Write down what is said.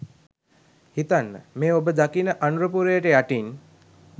හිතන්න මේ ඔබ දකින අනුරපුරයට යටින්